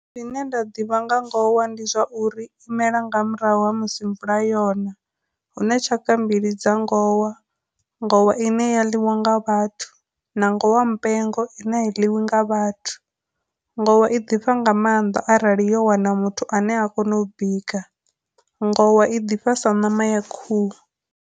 Zwine nda ḓivha nga ngowa ndi zwa uri imela nga murahu ha musi mvula yona, huna tshaka mbili dza ngowa, ngowa ine ya ḽiwa nga vhathu, na ngowa mpengo i ne a i ḽiwi nga vhathu. Ngowa i ḓifha nga maanḓa arali yo wana muthu ane a kona u bika, ngowa i ḓifha sa ṋama ya khuhu.